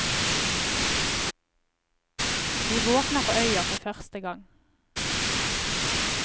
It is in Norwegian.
Vi våkner på øya for første gang.